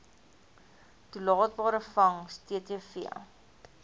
toelaatbare vangs ttv